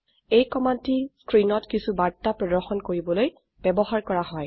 এই কমান্ডটি স্ক্ৰিনত কিছু বাৰ্তা প্ৰদৰ্শন কৰিবলৈ ব্যবহাৰ কৰা হয়